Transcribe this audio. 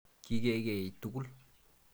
Kikeei tukul.